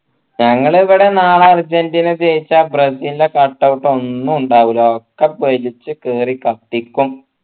ഞങ്ങൾ ഇവിടെ നാളെ അർജൻറീന ജയിച്ച ബ്രസീലിനെ cut out ഒന്നും ഉണ്ടാവില്ല ഒക്കെ പൊരിച് കീറി കത്തിക്കും